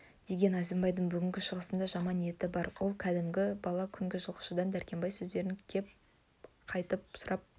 деген әзімбайдың бүгінгі шығысында жаман ниеті бар ол күндізгі бала жылқышыдан дәркембай сөздерін көп қайталап сұрап